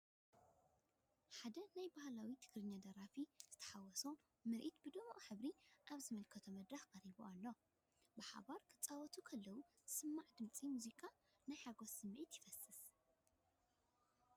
ሓደ ባህላዊ ናይ ትግርሀኛ ደራፊ ዝተሓዋወሰ ምርኢት ብድሙቕ ሕብሪ ኣብ ዝተመልአ መድረኽ ቀሪቡ ኣሎ፤ ብሓባር ክጻወቱ ከለዉ ዝስማዕ ድምጺ ሙዚቃ ናይ ሓጎስ ስምዒት ይፈስስ።